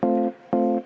Aitäh!